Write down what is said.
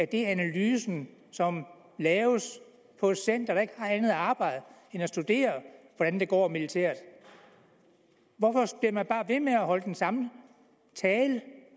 det er analysen som laves på et center der ikke har andet arbejde end at studere hvordan det går militært hvorfor bliver man bare ved med at holde den samme tale